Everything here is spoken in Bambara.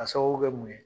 A sababu kɛ mun ye